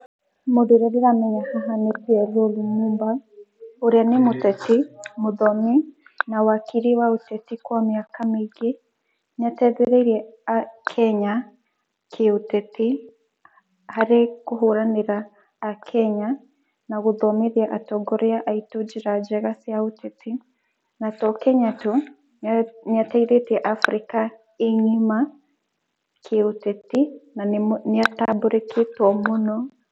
Mũndũ ũrĩa ndĩramenya haha nĩ PLO Lumumba, ũrĩa nĩ mũteti, mũthomi na wakiri wa ũteti kwa mĩaka mĩingĩ, nĩ ateithereirie Akenya kĩuteti harĩ kũhũranĩra akenya na gũthomithia atongoria njĩra njega cia ũteti na to Kenya tũ niateithetia Africa ngíma kĩuteti na nĩ atambũrekete mũno.